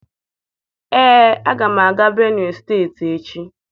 Ee, aga m aga Benue steeti echi.